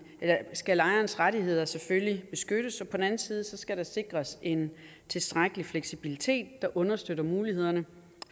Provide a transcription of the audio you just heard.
skal lejerens rettigheder selvfølgelig beskyttes og på den anden side skal der sikres en tilstrækkelig fleksibilitet der understøtter mulighederne